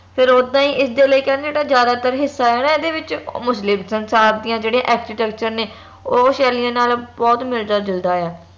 ਫੇਰ ਓਦਾਂ ਹੀ ਇਸ ਦੇ ਲਈ ਕਹਿੰਦੇ ਜਿਹੜਾ ਜ਼ਿਆਦਾਤਰ ਹਿੱਸਾ ਆ ਨਾ ਇਹਦੇ ਵਿਚ ਮੁਸਲਿਮ ਸੰਸਾਰ ਦੀਆਂ ਜਿਹੜੀਆਂ architecture ਨੇ ਓ ਸ਼ੈਲੀਆਂ ਨਾਲ ਬਹੁਤ ਮਿਲਦਾ ਜੁਲਦਾ ਆ